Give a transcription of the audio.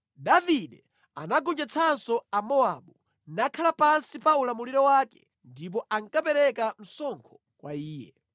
Davide anagonjetsanso Amowabu, nakhala pansi pa ulamuliro wake ndipo ankapereka msonkho kwa iye.